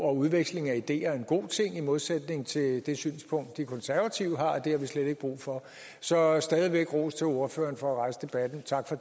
udveksling af ideer jo en god ting i modsætning til det synspunkt de konservative har det har vi slet ikke brug for så stadig væk ros til ordføreren for at rejse debatten tak for